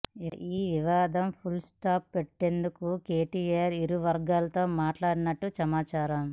ఇక ఈ వివాదం ఫుల్ స్టాప్ పెట్టేందుకు కేటీఅర్ ఇరువర్గాలతో మాట్లాడినట్లు సమాచారం